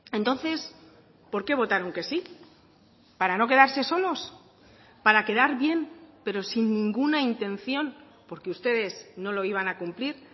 entonces por qué votaron que sí para no quedarse solos para quedar bien pero sin ninguna intención porque ustedes no lo iban a cumplir